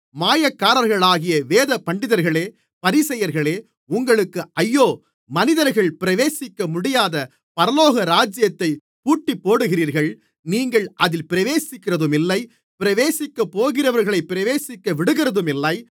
மாயக்காரர்களாகிய வேதபண்டிதர்களே பரிசேயர்களே உங்களுக்கு ஐயோ மனிதர்கள் பிரவேசிக்கமுடியாதபடி பரலோகராஜ்யத்தைப் பூட்டிப்போடுகிறீர்கள் நீங்கள் அதில் பிரவேசிக்கிறதுமில்லை பிரவேசிக்கப்போகிறவர்களை பிரவேசிக்கவிடுகிறதுமில்லை